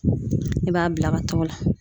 I b'a bila ka taga o la